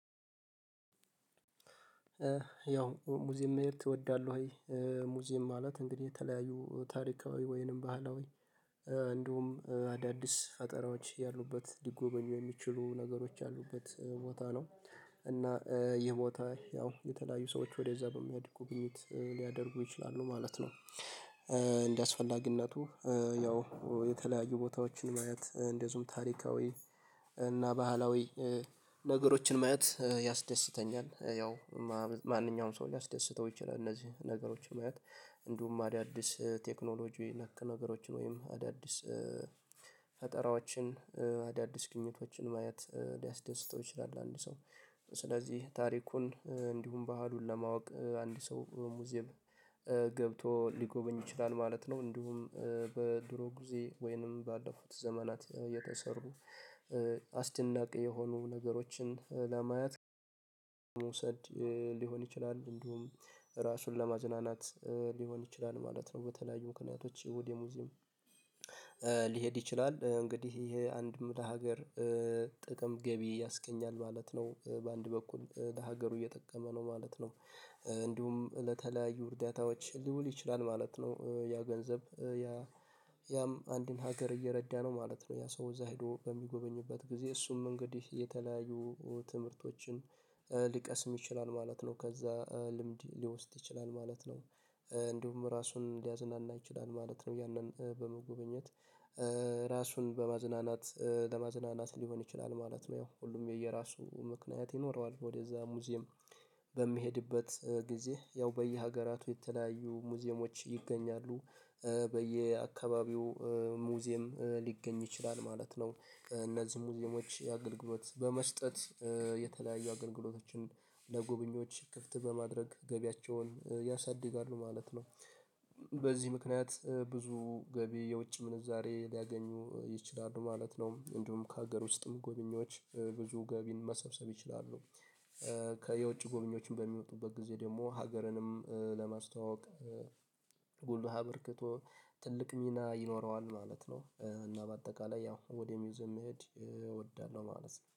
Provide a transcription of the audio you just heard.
ያው ሙዚየም መሄድ ትወዳለህ ወይ? ሙዚየም ማለት እንግዲህ የተለያዩ ታሪካዊ ወይንም ባህላዊ እንዲሁም አዳዲስ ፈጠራዎች ያሉበት ሊጎበኙ የሚችሉ ነገሮች ያሉበት ቦታ ነው። እና ይህ ቦታ ያው የተለያዩ ሰዎች ወደዛ በመሄድ ጉብኝት ሊያደርጉ ይችላሉ ማለት ነው። እንደ አስፈላጊነቱ ያው የተለያዩ ቦታዎችን ማየት እንደዚሁም ታሪካዊ እና ባህላዊ ነገሮችን ማየት ያስደስተኛል። ያው ማንኛውም ሰው ሊያስደስተው ይችላል። እነዚህ ነገሮች ማየት እንዲሁም አዳዲስ ቴክኖሎጂ ነክ ነገሮችን ወይም አዳዲስ ፈጠራዎችን አዳዲስ ግኝቶችን ማየት ሊያስደስተው ይችላል። አንድ ሰው ስለዚህ ታሪኩን እንዲሁም ባህሉን ለማወቅ አንድ ሰው ሙዚየም ገብቶ ሊጎበኙ ይችላል ማለት ነው። እንዲሁም በድሮ ጊዜ ወይንም ባለፉት ዘመናት የተሰሩ አስደናቂ የሆኑ ነገሮችን ለማየት መውሰድ ሊሆን ይችላል። እንዲሁም ራሱን ለማዘናናት ሊሆን ይችላል ማለት ነው። በተለያዩ ምክንያቶች ወደ ሙዚም ሊሄድ ይችላል። እንግዲህ ይሄ አንድም ለሀገር ጥቅም ገቢ ያስገኛል ማለት ነው። በአንድ በኩል ለሀገሩ እየጠቀመ ነው ማለት ነው። እንዲሁም ለተለያዩ እርዳታዎች ሊውል ይችላል ማለት ነው። ያ ገንዘብ ያ ያም አንድን ሀገር እየረዳነው ማለት ነው። ያ ሰው እዛ ሄዶ በሚጎበኝበት ጊዜ እሱም እንግዲህ የተለያዩ ትምህርቶችን ሊቀስም ይችላል ማለት ነው። ከዛ ልምድ ሊወስድ ይችላል ማለት ነው። እንዲሁም ራሱን ሊያዝናና ይችላል ማለት ነው። ያንን በመጎብኘት ራሱን በማዝናናት ለማዝናናት ሊሆን ይችላል ማለት ነው። ሁሉም የየራሱ ምክንያት ይኖረዋል። ወደዛ ሙዚየም በሚሄድበት ጊዜ ያው በየሀገራቱ የተለያዩ ሙዚየሞች ይገኛሉ። በየአካባቢው ሙዚየም ሊገኝ ይችላል ማለት ነው። እነዚህ ሙዚየሞች አገልግሎት በመስጠት የተለያዩ አገልግሎቶችን ለጉብኝዎች ክፍት በማድረግ ገቢያቸውን ያሳድጋሉ ማለት ነው። በዚህ ምክንያት ብዙ ገቢ የውጭ ምንዛሬ ሊያገኙ ይችላሉ ማለት ነው። እንዲሁም ከሀገር ውስጥም ጎበኞች ብዙ ገቢን መሰብሰብ ይችላሉ። ከየውጭ ጎብኝዎችም በሚመጡበት ጊዜ ደግሞ ሀገርንም ለመስተዋወቅ ጉልህ አበርክቶ ጥልቅ ሚና ይኖረዋል ማለት ነው። እና በአጠቃላይ ያው ወደ ሙዚም መሄድ እወዳለሁ ማለት ነው